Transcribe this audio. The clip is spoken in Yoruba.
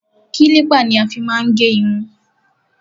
Kílípà ni a fí má ń gẹ irun.